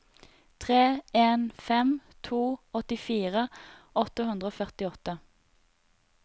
tre en fem to åttifire åtte hundre og førtiåtte